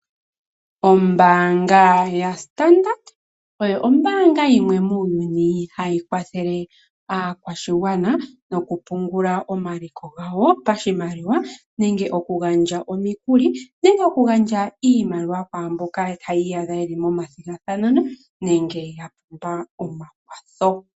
Ombaanga yaStandard oyo Ombaanga yimwe muuyuni hayi kwathele aakwashigwana mokupungula omaliko gawo pashimaliwa nenge okugandja omikuli nenge oshimaliwa kwaamboka haya iyadha yeli momathigathano nenge yapumbwa omakwatho.